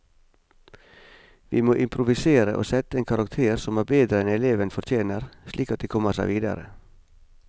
Vi må improvisere og sette en karakter som er bedre enn eleven fortjener, slik at de kommer seg videre.